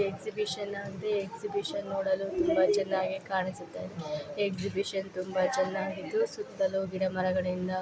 ಇಲ್ಲಿ ನಾವು ಏನು ನೋಡ್ತಾ ಇದ್ದೀರಿ ಅಂದ್ರೆ ಇಲ್ಲಿ ಹುಡುಗ ನೀರು ಕಡೆ ಎಲ್ಲಾ ಬ್ರಿಡ್ಜ್ ಮೇಲೆ ನಿಂತುಕೊಂಡು ಅಲ್ಲಿ ಫೋಟೋಸ್ ಹೇಳ್ತೀರೋದು ಅಂತ ನೋಡಬಹುದು